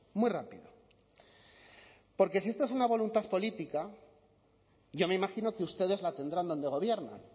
muy rápido porque si esto es una voluntad política yo me imagino que ustedes la tendrán donde gobiernan